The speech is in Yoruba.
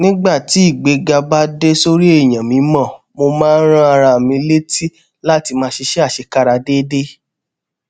nígbà tí ìgbéga bá dá lórí èèyàn mímọ mo máa ń rán ara mi létí láti máa ṣiṣé àṣekára déédéé